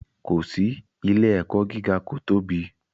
Ko si, ile-ẹkọ giga ko tobi